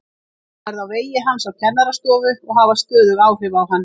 Ég mun verða á vegi hans á kennarastofu og hafa stöðug áhrif á hann.